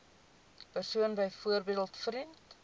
persoon byvoorbeeld vriend